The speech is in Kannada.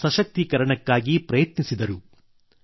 ಜನರ ಸಶಕ್ತೀಕರಣಕ್ಕಾಗಿ ಪ್ರಯತ್ನಿಸಿದರು